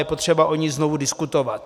Je potřeba o ní znovu diskutovat.